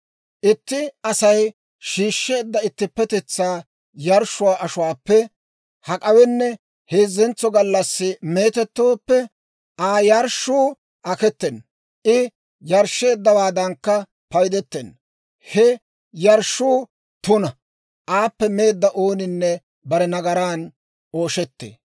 Itti Asay shiishsheedda ittippetetsaa yarshshuwaa ashuwaappe hak'awenne heezzentso gallassi meetettooppe, Aa yarshshuu aketena; I yarshsheeddawaadankka paydetenna. He yarshshuu tuna; aappe meedda ooninne bare nagaraan ooshettee.